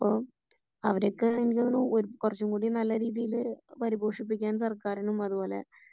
അപ്പോ അവരൊക്കെ എനിക്കു തോന്നുന്നു കുറച്ചും കൂടി നല്ല രീതിയില് പരിപോഷിപ്പിക്കാൻ സർക്കാരിനും അത്പോലെ